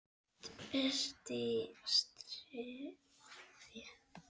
ERT Í STREÐI.